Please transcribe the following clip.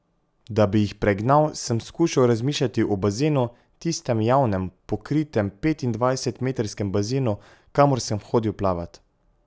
Da bi jih pregnal, sem skušal razmišljati o bazenu, tistem javnem, pokritem petindvajsetmetrskem bazenu, kamor sem hodil plavat.